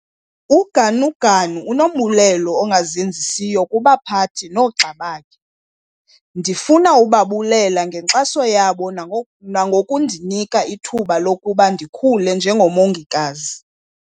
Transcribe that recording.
UGanuganu unombulelo ongazenzisiyo kubaphathi noogxa bakhe."Ndifuna ukubabulela ngenkxaso yabo nangoku nangokundinika ithuba lokuba ndikhule njengomongikazi."